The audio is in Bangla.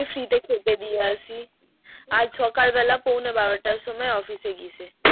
আমি free তে খেতে দিয়ে আসি আজ সকাল বেলা পোনে বারো টার সময় office এ গিয়েছে